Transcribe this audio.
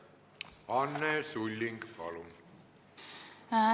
Anne Sulling, palun!